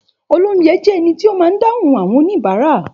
Òlóunjé jé èní tí ó má dahun àwõn oníbàrá